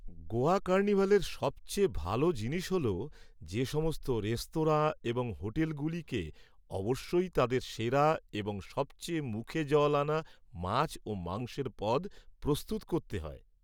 গোয়া কার্নিভালের সবচেয়ে ভাল জিনিস হল যে সমস্ত রেস্তোরাঁ এবং হোটেলগুলিকে অবশ্যই তাদের সেরা এবং সবচেয়ে মুখে জল আনা মাছ ও মাংসের পদ প্রস্তুত করতে হয়।